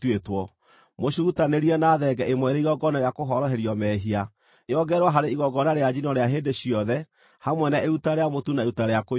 Mũcirutanĩrie na thenge ĩmwe ĩrĩ igongona rĩa kũhoroherio mehia, yongererwo harĩ igongona rĩa njino rĩa hĩndĩ ciothe, hamwe na iruta rĩa mũtu na iruta rĩa kũnyuuo.